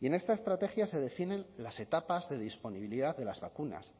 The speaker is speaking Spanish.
y en esta estrategia se definen las etapas de disponibilidad de las vacunas